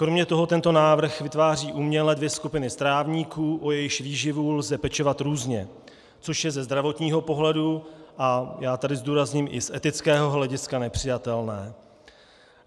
Kromě toho tento návrh vytváří uměle dvě skupiny strávníků, o jejichž výživu lze pečovat různě, což je ze zdravotního pohledu - a já tady zdůrazním i z etického hlediska - nepřijatelné.